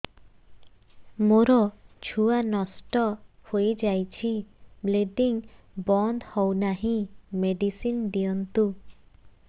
ମୋର ଛୁଆ ନଷ୍ଟ ହୋଇଯାଇଛି ବ୍ଲିଡ଼ିଙ୍ଗ ବନ୍ଦ ହଉନାହିଁ ମେଡିସିନ ଦିଅନ୍ତୁ